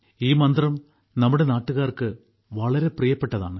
ഈ മന്ത്രം നമ്മുടെ നാട്ടുകാർക്ക് വളരെ പ്രിയപ്പെട്ടതാണ്